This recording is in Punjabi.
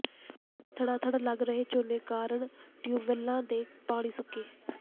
ਧੜਾ ਧੜ ਲੱਗ ਰਹੇ ਝੋਨੇ ਕਾਰਨ ਟਿਊਬਵੈੱਲਾਂ ਦੇ ਪਾਣੀ ਸੁੱਕੇ